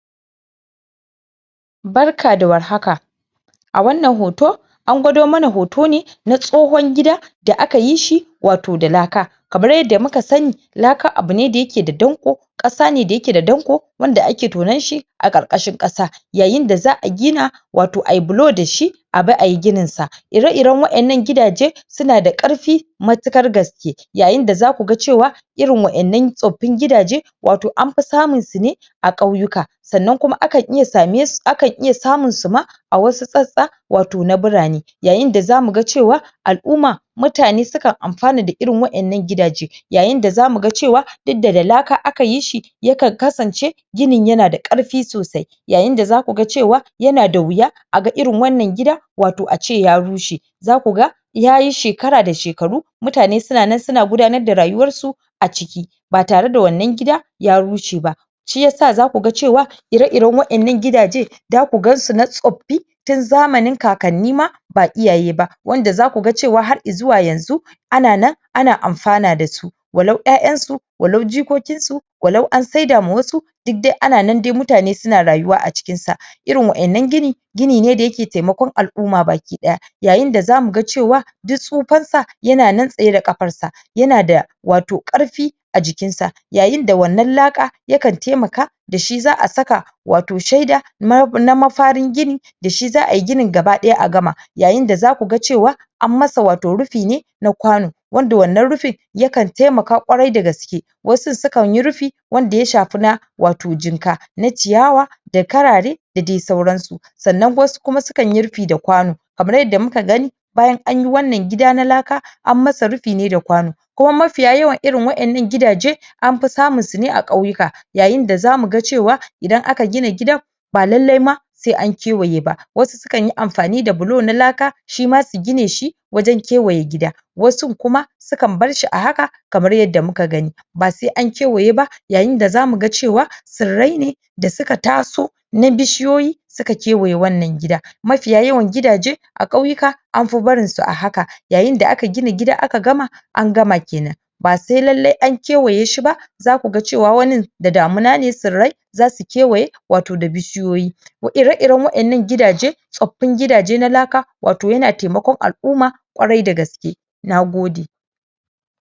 barka da war haka a wannan hoto angwado mana hoto ne na tsohun gida da akayi shi wato da laka kamar yadda muka sani laka abune da yake da danko ƙasa ne da yake da danko wanda ake tonanshi a ƙarƙashin ƙasa yayin da za a gina wato ayi bilo dashi abi ayi gininsa ire iran waɗannan gidajan suna da karfe matuƙar gaske wato zaku ga cewa irin wannan tsoffin gidajan anfi samunsu wato anfi samun su ne a ƙauyeka sannan kuma akan iya samun suma a wasu sassa wato na birane yayin da zamu ga cewa al'umma mutane sukan amfana da irin waɗannan gidaje yayin da zamu cewa duk da da laka akayi shi yakan kasance ginin yana da karfi sosai yayin da zaku ga cewa yana da wuya a ga irin wannan gida ace ya rushe zakun ga yayi shekara da shekaru mutane sunanan suna gudanar da rayuwarsu a ciki ba tare da wannan gida ya rushe ba shiya zaku ga cewa ire iran waɗannan gida jan zaku gansu na tsoffi tun zamani kakanni ma ba iyaye ba wanda zaku ga cewa har izuwa yanzu ana nan ana amfana dasu walau ƴa'ƴansu walau jikokinsu walau an saidawa wasu duk dai ana nan mutane suna rayuwa a cikinsa irin wannan gini gini ne da yake taimakon al'uma baki ɗaya yayin da zamu ga duk tsofansa yana nan tsaye da ƙafarsa yana da wato karfe a jikin sa yayin da wannan laka yakan taimaka dashi za a saka wato shaida mafarin gini dashi za ayi ginin gaba ɗaya yayin d zaku ga cewa anmasa wato rufi ne na kwano wanda wannan rufin yakan taimaka ƙwarai da gaske wasu sukanyi rufi wato wanda ya shafi na jinka wato na ciyawa da karare da dai sauransu sannan wasu kuma sukanyi rufi da kwano kamar yanda muka gani bayan anyi wannan gida na laka anmasa rufi ne da kwano kuma mafiya yawan irin waɗannan gida jan anfi samunsu ne a ƙauyeka yayin da zamu ga cewa idan aka gina gidan ba lallai sai ma ankewaye ba wasu sukanyi amfani da bilo na laka shima su gineshi wajan kewaye gida wasun kuma sukan barshi a haka kamar yanda muka gani basai an kewaye ba yayin da zamu ga cewa tsirrai ne da suka taso na bishiyoyi suka kewaye wannan gida nafi yawanci gidaje a ƙauyeka anfi barinsu a haka yayin da aka gina gida aka gama angama kenan ba sai lallai sai an kewaye shiba zaku ga cewa wanin da damuna ne tsirrai zasu kewaye wato da bishiyoyi ire iran waɗannan gidajan tsoffin gida je na laka wato yana taikaƙon al'uma ƙwarai da gaske nagode